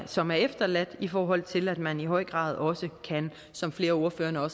som er efterladt i forhold til at man i høj grad også som flere af ordførerne har